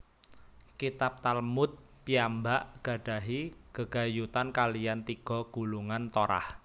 Kitab Talmud piyambak gadahi gegayutan kaliyan tiga gulungan Torah